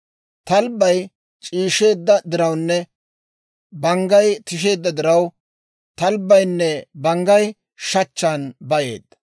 Talbbay c'iisheedda dirawunne banggay tisheedda diraw, talbbaynne banggay shachchan bayeeddino.